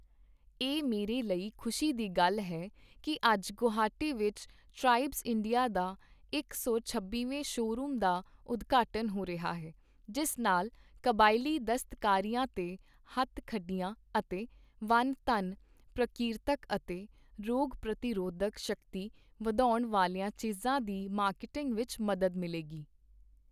ਇਹ ਮੇਰੇ ਲਈ ਖ਼ੁਸ਼ੀ ਦੀ ਗੱਲ ਹੈ ਕਿ ਅੱਜ ਗੋਹਾਟੀ ਵਿੱਚ ਟ੍ਰਾਈਬਜ਼ ਇੰਡੀਆ ਦਾ ਇਕ ਸੌ ਛੱਬੀਵੇਂ ਸ਼ੋਅਰੂਮ ਦਾ ਉਦਘਾਟਨ ਹੋ ਰਿਹਾ ਹੈ, ਜਿਸ ਨਾਲ ਕਬਾਇਲੀ ਦਸਤਕਾਰੀਆਂ ਤੇ 'ਹੱਥ-ਖੱਡੀਆਂ' ਅਤੇ 'ਵਨ ਧਨ' ਪ੍ਰਕੀਰਤਕ ਅਤੇ ਰੋਗ ਪ੍ਰਤੀਰੋਧਕ ਸ਼ਕਤੀ ਵਧਾਉਣ ਵਾਲੀਆਂ ਚੀਜ਼ਾਂ ਦੀ ਮਾਰਕੀਟਿੰਗ ਵਿੱਚ ਮਦਦ ਮਿਲੇਗੀ।